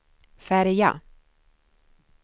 färja